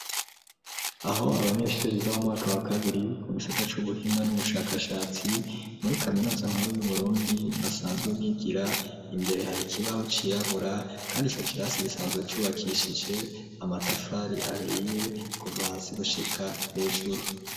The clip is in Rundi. Aho abanyeshuri biga mu mwaka wa kabiri mu gisata c'ubuhinga n'ubushakashatsi muri kaminuza nkuru yu Burundi basanzwe bigira imbere hari ikibaho cirabura kandi ico kirasi gisanzwe cubakishije amatafari ahiye kuva hasi gushika hejuru.